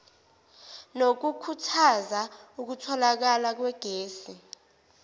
nokukhuthaza ukutholakala kwegesi